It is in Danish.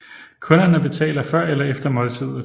Kunderne betaler før eller efter måltidet